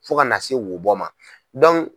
Fo ka na se wobɔ ma